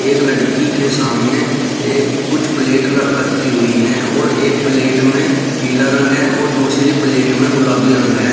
एक लड़की के सामने ए कुछ प्लेट ल रखी हुई हैं और एक प्लेट में पीला रंग है और दूसरी प्लेट में गुलाबी रंग है।